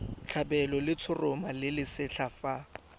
tlhabelwa letshoroma le lesetlha fa